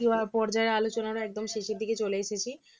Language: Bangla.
পর্যায়ের আলোচনার একদম শেষের দিকে চলে এসেছি